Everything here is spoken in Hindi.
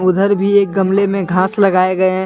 उधर भी एक गमले में घास लगाए गए हैं।